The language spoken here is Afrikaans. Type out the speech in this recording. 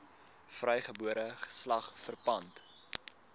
vrygebore geslag verpand